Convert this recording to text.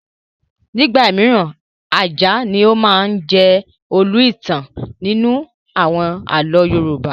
Nígbà mìíràn, ajá ni ó máa ń jẹ́ olú ẹ̀dá-ìtàn nínú àwọn àlọ́ Yorùbá.